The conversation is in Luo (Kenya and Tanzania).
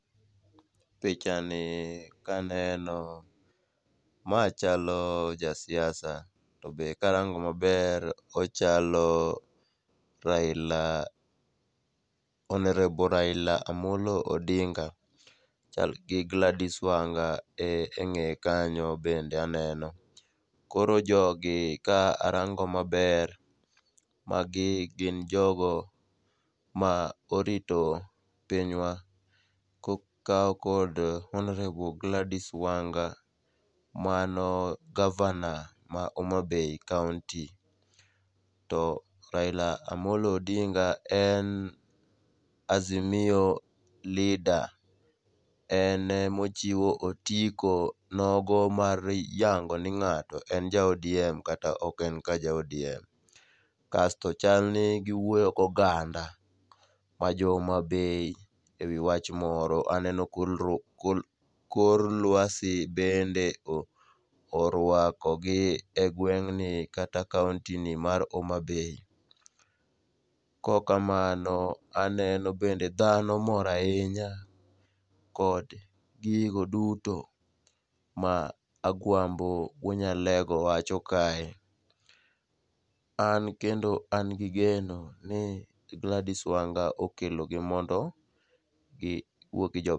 Pichani kaneno, ma chalo jasiasa to be karango maber, ochalo honourable Raila Amollo Odinga, chal gi Gladys Wanga e ng'eye kanyo, bende aneno. Koro jogi ka arango maber, magi gin jogo ma orito pinywa kokaw kod honourable Gladys Wanga, mano gavana ma Homabay kaonti, to Raila Amollo Odinga en azimio leader en ema ochiwo otiko nogo mar yango ni ng'ato en ja ODM kata ok en ka ja ODM. Kasto chalni giwuoyo goganda ma jo Homabay e wi wach moro, aneno kor lwasi bende orwakogi e gweng'ni kata kaontini mar Homabay, kokamano aneno bende dhano mor ahinya kod gigo duto ma Agwambo Wuonyalego wacho kae, an kendo an gi geno ni Gladys Wanga okelogi mondo giwuo gi jopiny.